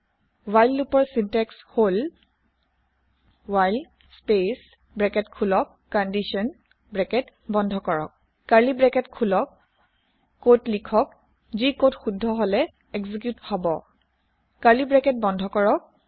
while লোপৰ syntax হল while space bracket খোলক কণ্ডিশ্যন ব্ৰেকেট বন্ধ কৰক কাৰ্লি ব্ৰেকেত খোলক কদ লিখক যি কদ শুদ্ধ হলে এক্জিক্যুত হব কাৰ্লি ব্ৰেকেত বন্ধ কৰক